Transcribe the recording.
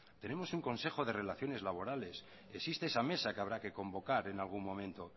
tenemos un consejo de relaciones laborales existe esa mesa que habrá que convocar en algún momento